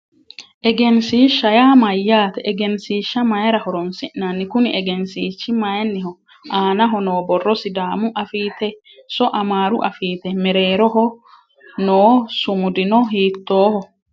Egensiishsha yaa mayyaate? Egensiishsha mayiira horonsi'nanni? Kuni egensiishshi mayiinniho? Aanaho noo borro sidaamu afiitenso amaaru afitee? Mereeroho noo sumudino hiittoho?